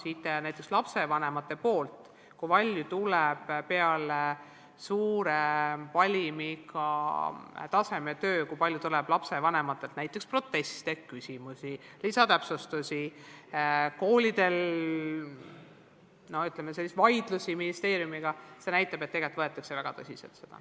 Ja näiteks lapsevanematelt saadud tagasiside – kui palju pärast suure valimiga tasemetöid tuleb lapsevanematelt näiteks proteste, küsimusi, lisatäpsustusi – ja see, kui palju esineb koolidel selliseid vaidlusi ministeeriumiga, näitab, et tegelikult võetakse tasemetöid väga tõsiselt.